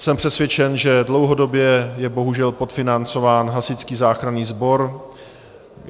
Jsem přesvědčen, že dlouhodobě je bohužel podfinancován hasičský záchranný sbor.